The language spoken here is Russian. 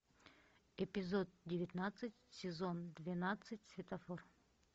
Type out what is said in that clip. эпизод девятнадцать сезон двенадцать светофор